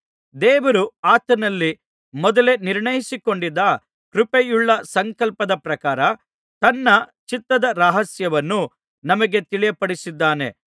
ದೇವರು ಆತನಲ್ಲಿ ಮೊದಲೇ ನಿರ್ಣಯಿಸಿಕೊಂಡಿದ್ದ ಕೃಪೆಯುಳ್ಳ ಸಂಕಲ್ಪದ ಪ್ರಕಾರ ತನ್ನ ಚಿತ್ತದ ರಹಸ್ಯವನ್ನು ನಮಗೆ ತಿಳಿಯಪಡಿಸಿದ್ದಾನೆ